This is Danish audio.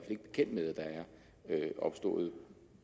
ikke bekendt med at der er opstået